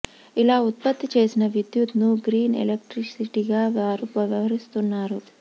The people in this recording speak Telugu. ఇలా ఉత్పత్తి చేసిన విద్యుత్ ను గ్రీన్ ఎలక్ట్రిసిటీగా వారు వ్యవహరిస్తున్నారు